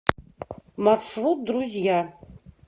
маршрут друзья